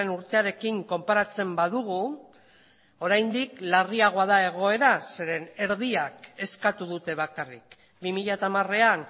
urtearekin konparatzen badugu oraindik larriagoa da egoera zeren erdiak eskatu dute bakarrik bi mila hamarean